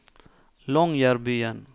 Longyearbyen